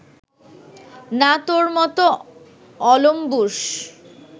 না তোর মতো অলম্বুষ